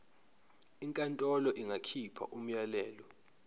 inkantolo ingakhipha umyalelo